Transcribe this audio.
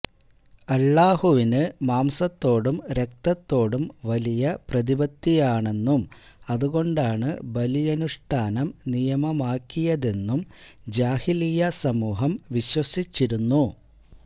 അല്ലാഹുവിന് മാംസത്തോടും രക്തത്തോടും വലിയ പ്രതിപത്തിയാണെന്നും അതുകൊണ്ടാണ് ബലിയനുഷ്ഠാനം നിയമമാക്കിയതെന്നും ജാഹിലിയ്യാ സമൂഹം വിശ്വസിച്ചിരുന്നു